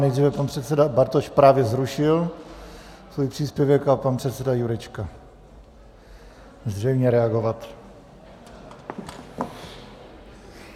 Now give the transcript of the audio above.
Nejdříve pan předseda Bartoš - právě zrušil svůj příspěvek - a pan předseda Jurečka zřejmě reagovat.